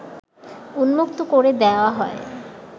উন্মুক্ত করে দেয়া হয়